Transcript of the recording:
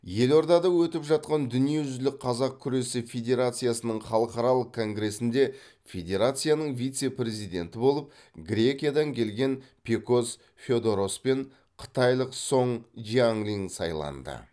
елордада өтіп жатқан дүниежүзілік қазақ күресі федерациясының халықаралық конгресінде федерацияның вице президенті болып грекиядан келген пекос феодорос пен қытайлық соң жиаңлиң сайланды